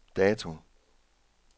dato